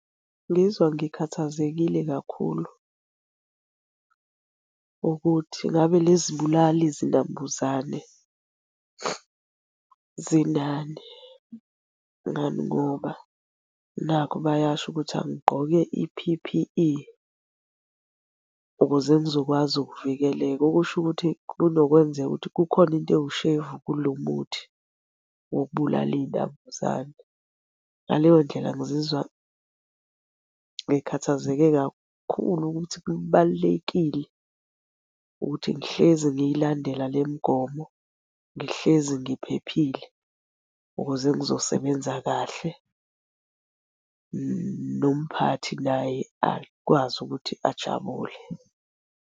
Ngizwa ngikhathazekile kakhulu, ukuthi ngabe lezi bulali zinambuzane zinani, ngani ngoba nakhu bayasho ukuthi angigqoke i-P_P_E ukuze ngizokwazi ukuvikeleka. Okusho ukuthi kunokwenzeka ukuthi kukhona into ewushevu kulo muthi wokubulala iy'nambuzane. Ngaleyo ndlela ngizizwa ngikhathazeke kakhulu ukuthi kubalulekile ukuthi ngihlezi ngiy'landela le mgomo, ngihlezi ngiphephile, ukuze ngizosebenza kahle nomphathi naye akwazi ukuthi ajabule.